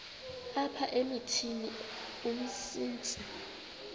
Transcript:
apha emithini umsintsi